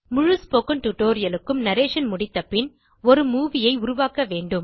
முழு spoken tutorial க்கும் narration முடித்த பின் ஒரு மூவி ஐ உருவாக்க வேண்டும்